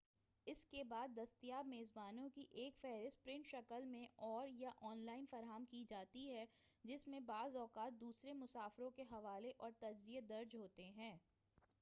اس کے بعد دستیاب میزبانوں کی ایک فہرست پرنٹ شکل میں اور / یا آن لائن فراہم کی جاتی ہے جس میں بعض اوقات دوسرے مسافروں کے حوالے اور تجزیے درج ہوتے ہیں